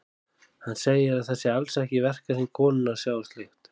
Hann segir að það sé alls ekki í verkahring konunnar að sjá um slíkt.